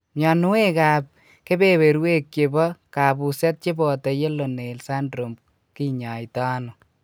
Myonwek ab kebeberwek chebo kabuset cheboto Yellow nail syndrome kinyaitaino?